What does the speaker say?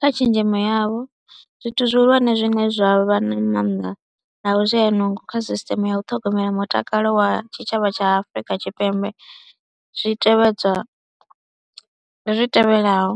Kha tshenzhemo yavho zwithu zwihulwane zwine zwa vha na maanḓa na vhushayanungo kha sisṱeme ya u ṱhogomela mutakalo wa tshitshavha tsha Afrika Tshipembe zwi tevhedzwa, ndi zwi tevhelaho,